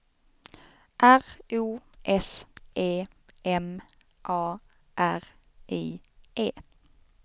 R O S E M A R I E